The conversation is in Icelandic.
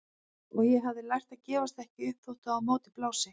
Og ég hafði lært að gefast ekki upp þótt á móti blési.